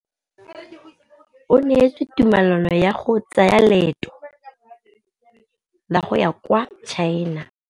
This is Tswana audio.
O neetswe tumalanô ya go tsaya loetô la go ya kwa China.